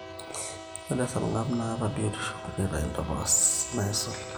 ore esarngab naataa biotisho nitayu ntapuka naisul